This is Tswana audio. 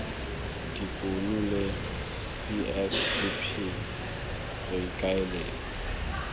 dikuno la csdp re ikaeletse